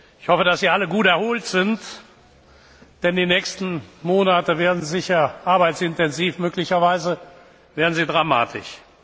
Ich hoffe, dass Sie alle gut erholt sind, denn die nächsten Monate werden sicher arbeitsintensiv, möglicherweise werden sie dramatisch.